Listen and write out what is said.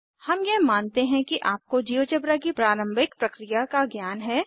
हम यह मानते हैं कि आपको जियोजेब्रा की प्रारंभिक प्रक्रिया का ज्ञान है